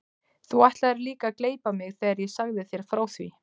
Þú ætlaðir líka að gleypa mig þegar ég sagði þér frá því.